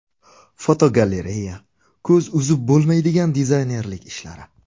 Fotogalereya: Ko‘z uzib bo‘lmaydigan dizaynerlik ishlari.